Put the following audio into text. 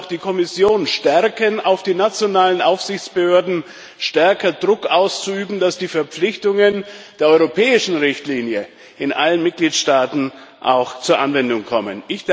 Wir wollen auch die Kommission stärken, auf die nationalen Aufsichtsbehörden stärker Druck auszuüben, dass die Verpflichtungen der europäischen Richtlinie in allen Mitgliedstaaten auch zur Anwendung kommen.